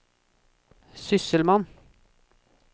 sysselmann